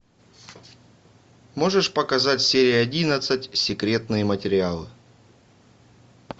можешь показать серия одиннадцать секретные материалы